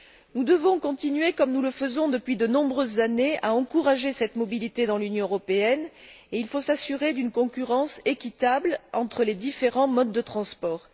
Nous devons continuer comme nous le faisons depuis de nombreuses années à encourager cette mobilité dans l'Union européenne, et il faut s'assurer d'une concurrence équitable entre les différents modes de transport.